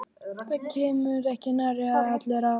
Það komast ekki nærri allir að.